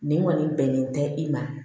Nin kɔni bɛnnen tɛ i ma